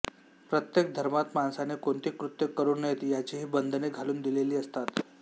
प्रत्येक धर्मात माणसाने कोणती कृत्ये करू नयेत याचीही बंधने घालून दिलेली असतात